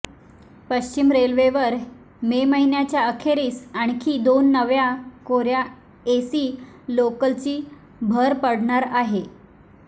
पश्चिम रेल्वेवर मे महिन्याच्या अखेरीस आणखी दोन नव्या कोर्या एसी लोकलची भर पडणार आहे